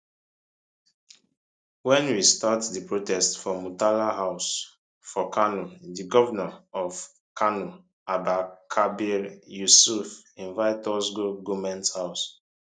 wen we start di protest for murtala house for kano di govnor of kano abba kabir yusuf invite us go goment house